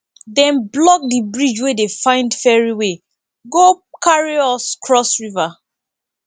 dem block di bridge we dey find ferry wey go carry us cross river